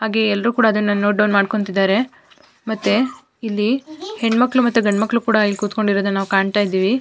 ಹಾಗೆ ಎಲ್ಲರೂ ಕೂಡ ಅದನ್ನ ನೋಟ್ ಡೌನ್ ಮಾಡ್ಕೊಂತಿದ್ದರೆ ಮತ್ತೆ ಇಲ್ಲಿ ಹೆಣ್ ಮಕ್ಕಳು ಮತ್ತು ಗಂಡ್ ಮಕ್ಕಳು ಕೂಡ ಇಲ್ಲಿ ಕುತ್ಕೊಂಡ್ ಇರೋದನ್ನ ನಾವ್ ಕಾಣ್ತಾ ಇದ್ದಿವಿ.